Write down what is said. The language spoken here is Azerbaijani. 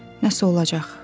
Nə isə olacaq.